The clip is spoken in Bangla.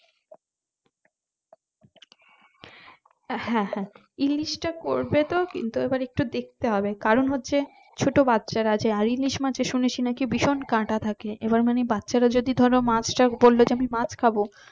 হ্যাঁ হ্যাঁ ইলিশটা করতেতো কিন্তু এবার একটু দেখতে হবে কারণ হচ্ছে ছোট বাচ্চারা আছে আর ইলিশ মমাছে শুনেছি নাকি ভীষণ কাটা থাকে এবার মানে বাচ্চারা যদি বললো আমি মাছ খাবো